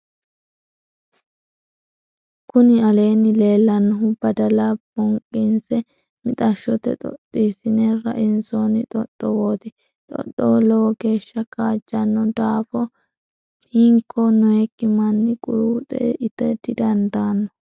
kuni aleenni leellanohu badala bonqinsse mixashote xoxxisine rainsoonni xoxxowoti. xoxxowo lowo geesha kaajjanno daafo hinko noyikki manni quruuxe ita didandanno.